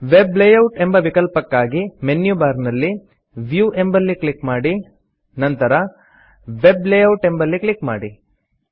web layout ಎಂಬ ವಿಕಲ್ಪಕ್ಕಾಗಿ menu bar ನಲ್ಲಿ ವ್ಯೂ ಎಂಬಲ್ಲಿ ಕ್ಲಿಕ್ ಮಾಡಿ ನಂತರ ವೆಬ್ ಲೇಯೌಟ್ ಎಂಬಲ್ಲಿ ಕ್ಲಿಕ್ ಮಾಡಿ